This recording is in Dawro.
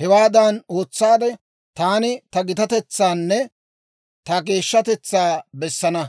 Hewaadan ootsaade, taani ta gitatetsaanne ta geeshshatetsaa bessana.